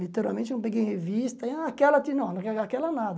Literalmente, eu não peguei em revista, ah aquela, não, aque aquela nada.